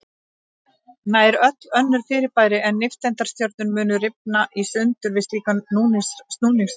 Nær öll önnur fyrirbæri en nifteindastjörnur mundu rifna í sundur við slíkan snúningshraða.